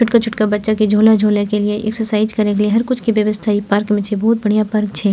छोटका-छोटका बच्चा के झूला झूले एक्सरसाइज के लिए हर कुछ के व्यवस्था इ पार्क छै बहुत बढ़िया पार्क छै।